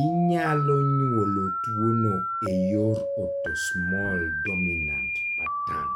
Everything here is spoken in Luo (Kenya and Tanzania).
inyalo nyuol tuwono e yor autosomal dominant pattern.